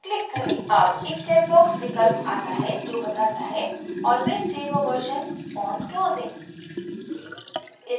अब एक checkbox विकल्प आता है जो बताता है always save a version on closing